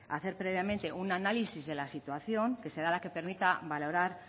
hacer previamente un análisis de la situación que será la que permita valorar